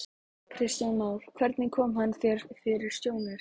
Kristján Már: Hvernig kom hann þér fyrir sjónir?